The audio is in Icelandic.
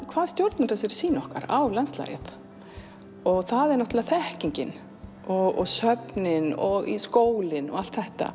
hvað stjórnar þessari sýn okkar á landslagið og það er náttúrulega þekkingin og söfnin og skólinn og allt þetta